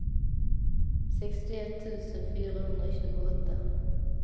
sextioett tusen fyrahundratjugoåtta